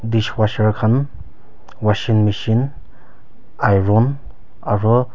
dish washer khan washing michine iron aro--